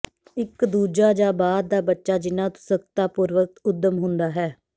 ਇੱਕ ਦੂਜਾ ਜਾਂ ਬਾਅਦ ਦਾ ਬੱਚਾ ਜਿੰਨਾ ਉਤਸੁਕਤਾ ਪੂਰਵਕ ਉੱਦਮ ਹੁੰਦਾ ਹੈ